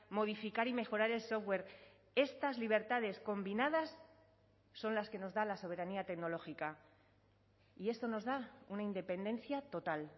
modificar y mejorar el software estas libertades combinadas son las que nos da la soberanía tecnológica y esto nos da una independencia total